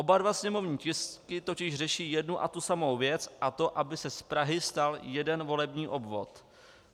Oba dva sněmovní tisky totiž řeší jednu a tu samou věc, a to aby se z Prahy stal jeden volební obvod.